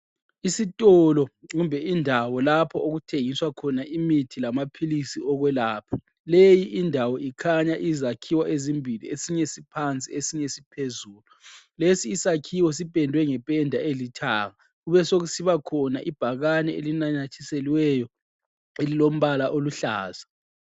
Isitolo kumbe indawo lapho okuthengiswa khona imithi lamaphilisi okwelapha. Leyi indawo ikhanya izakhiwo ezimbili esinye siphansi esinye siphezulu. Lesi isakhiwo sipendwe ngependa elithanga. Kubesokusiba khona ibhakane elinanyathiselweyo elilombala oluhlaza.